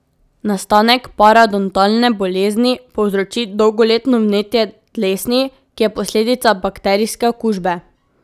Nastanek parodontalne bolezni povzroči dolgoletno vnetje dlesni, ki je posledica bakterijske okužbe.